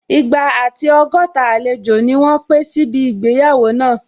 Igba àti ọgọ́ta àlejò ni wọ́n pé síbi ìgbéyàwó náà